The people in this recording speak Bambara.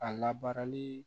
A labaarali